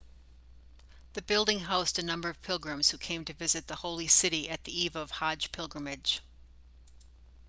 the building housed a number of pilgrims who came to visit the holy city at the eve of hajj pilgrimage